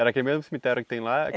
Era aquele mesmo cemitério que tem lá?